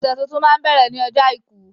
Ọ̀sẹ̀ tuntun máa ń bẹ̀rẹ̀ ní ọjọ́ àìkú